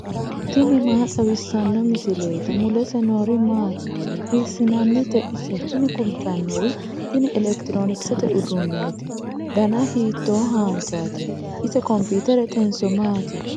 tini maa xawissanno misileeti ? mulese noori maati ? hiissinannite ise ? tini kultannori tin elekitiroonkisete uduunneeti dana hito haanjaati ise kompiiteretenso maati ?